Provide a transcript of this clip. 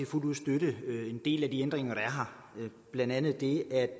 fuldt ud støtte en del af de ændringer der er her blandt andet det at